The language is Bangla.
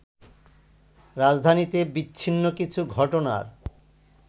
রাজধানীতে বিচ্ছিন্ন কিছু ঘটনার